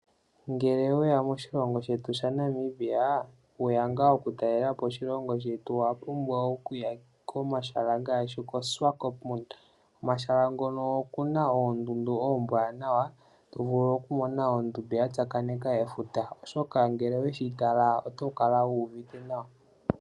Ngele oweya moshilongo shetu shaNamibia, weya ngaa okutalelapo, owapumbwa okuya komahala ngaashi koShiwakopo. Komahala ngoka okuna oondundu oombwanawa, tovulu okumona ondundu ya tsakaneka efuta na ngele oweyi tala otokala wuuvite nawa.